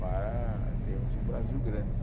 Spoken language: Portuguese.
para termos um Brasil grande.